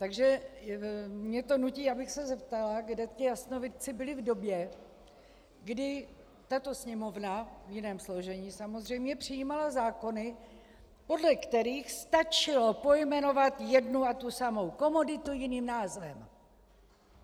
Takže mě to nutí, abych se zeptala, kde ti jasnovidci byli v době, kdy tato Sněmovna, v jiném složení samozřejmě, přijímala zákony, podle kterých stačilo pojmenovat jednu a tu samou komoditu jiným názvem.